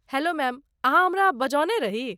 Hello ma'am, अहाँ हमरा बजौने रही?